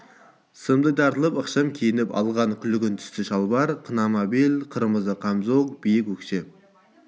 сымдай тартылып ықшам киініп алған күлгін түсті шалбар қынама бел қырмызы қамзол биік өкше